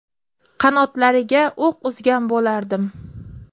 Qanotlariga o‘q uzgan bo‘lardim.